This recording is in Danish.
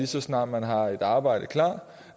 så snart man har et arbejde klar